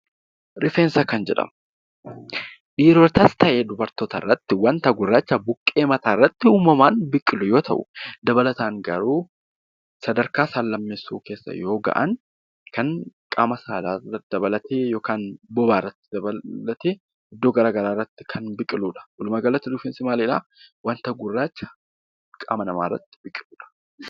Rifeensa kan jedhamu, dhiirotas ta'ee dubartoota irratti mul'atu, waanta gurraacha buqqee mataa irratti uumamaan biqilu yoo ta'u, dabalataan garuu sadarkaa saal-lammeessoo yeroo gahan kan qaama saalaa dabalatee yookaan bobaa dabalatee iddoo garaagaraa irratti kan biqiludha. Walumaa galatti rifeensi maalidha, waanta gurraacha qaama namaa irratti biqiludha.